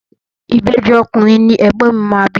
Ìbejì ọkùnrin ni ègbón mi máa bí.